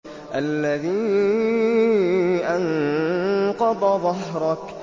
الَّذِي أَنقَضَ ظَهْرَكَ